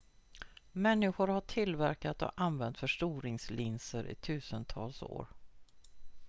människor har tillverkat och använt förstoringslinser i tusentals år